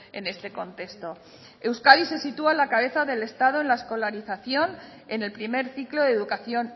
en este contexto euskadi se sitúa en la cabeza del estado en la escolarización en el primer ciclo de educación